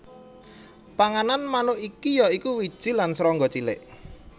Panganan manuk iki ya iku wiji lan serangga cilik